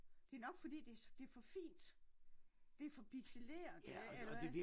Det nok fordi det det for fint det for pixeleret eller hvad?